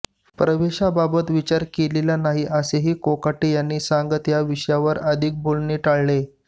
प्रवेशाबाबत विचार केलेला नाही असेही कोकाटे यांनी सांगत या विषयावर अधिक बोलणे टाळले